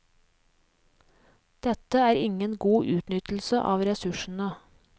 Dette er ingen god utnyttelse av ressursene.